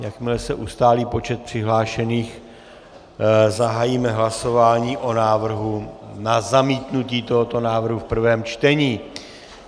Jakmile se ustálí počet přihlášených, zahájíme hlasování o návrhu na zamítnutí tohoto návrhu v prvém čtení.